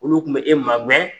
Olu tun bɛ e ma gɛn